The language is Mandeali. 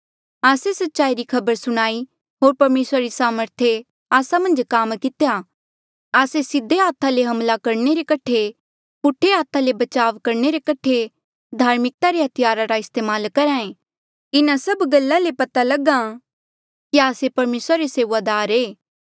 आस्से सच्चाई री खबर सुणाई होर परमेसरा री सामर्थे आस्सा मन्झ काम कितेया आस्से सीधे हाथा ले हमला करणे रे कठे होर पूठे हाथा ले बचाव करणे रे कठे धार्मिकता रे हथियारा रा इस्तेमाल करहे इन्हा सभ गल्ला ले पता लगां कि आस्से परमेसरा रे सेऊआदार ऐें